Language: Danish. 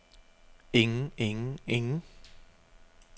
ingen ingen ingen